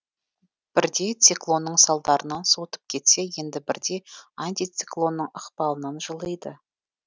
бірде циклонның салдарынан суытып кетсе енді бірде антициклонның ықпалынан жылиды